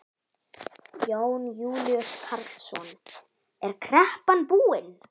Jón Júlíus Karlsson: Er kreppan búin?